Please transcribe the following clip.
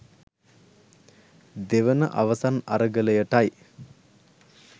දෙවන අවසන් අරගලයටයි